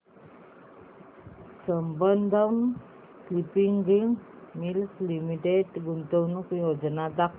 Sambandam spinning mills limited गुंतवणूक योजना दाखव